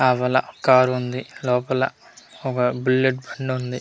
అవళ car ఉంది లోపల ఒక బుల్లెట్ బండి ఉంది.